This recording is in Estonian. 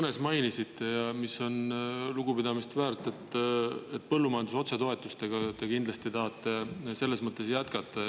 Te mainisite oma kõnes, ja see on lugupidamist väärt, et põllumajanduse otsetoetustega te tahate kindlasti selles mõttes jätkata.